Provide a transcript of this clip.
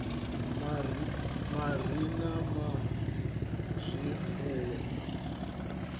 a miri na a zwifuwo